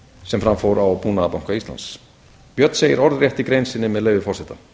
sem fram fór á búnaðarbanka íslands björn segir orðrétt í grein sinni með leyfi forseta